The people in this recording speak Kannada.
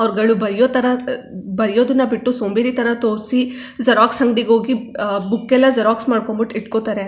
ಅವ್ರುಗಳು ಬೈಯೋತರ ಬೈಯೋದನ್ನಾ ಬಿಟ್ಟು ಸೋಂಬೇರಿತರ ತೋರ್ಸಿ ಜೆರಾಕ್ಸ್ ಅಂಗಡಿಗೆ ಹೋಗಿ ಬುಕ್ ಎಲ್ಲಾ ಜೆರಾಕ್ಸ್ ಮಾಡ್ ಕೊಂಡ್ ಬಿಟ್ಟ್ ಇಟ್ಟಕೊತ್ತರೆ.